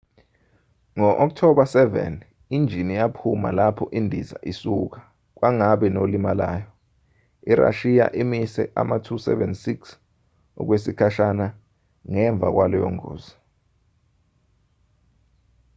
ngo-october 7 injini yaphuma lapho indiza isuka kwangabi nolimalayo. irashiya imise ama-ll-76 okwesikhashana ngemva kwaleyo ngozi